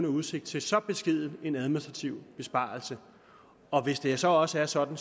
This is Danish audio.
udsigt til så beskeden en administrativ besparelse og hvis det så også var sådan